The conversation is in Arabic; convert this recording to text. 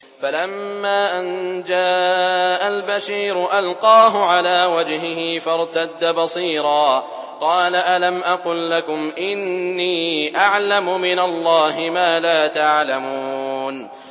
فَلَمَّا أَن جَاءَ الْبَشِيرُ أَلْقَاهُ عَلَىٰ وَجْهِهِ فَارْتَدَّ بَصِيرًا ۖ قَالَ أَلَمْ أَقُل لَّكُمْ إِنِّي أَعْلَمُ مِنَ اللَّهِ مَا لَا تَعْلَمُونَ